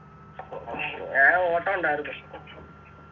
ഞാൻ ഓട്ടം ഉണ്ടാരുന്നു